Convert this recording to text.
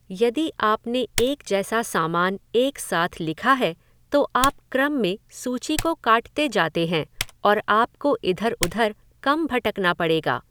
यदि आपने एक जैसा सामान एक साथ लिखा है, तो आप क्रम में सूची को काटते जाते हैं और आपको इधर उधर कम भटकना पड़ेगा।